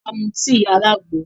A mú tíì alàgbo